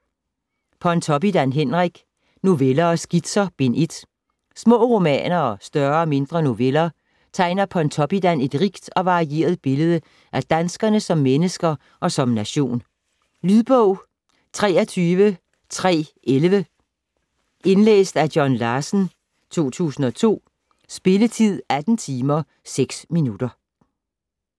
Pontoppidan, Henrik: Noveller og skitser - Bind 1 I små romaner og større og mindre noveller tegner Pontoppidan et rigt og varieret billede af danskerne som mennesker og som nation. Lydbog 23311 Indlæst af John Larsen, 2002 Spilletid: 18 timer, 6 minutter.